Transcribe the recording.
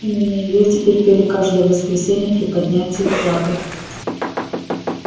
именно её теперь пели каждое воскресенье при поднятии флага